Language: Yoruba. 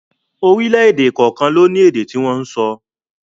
Orílẹ̀èdè kọ̀ọ̀kan ló ní èdè tí wọ́n ń sọ